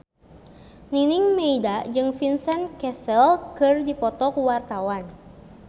Nining Meida jeung Vincent Cassel keur dipoto ku wartawan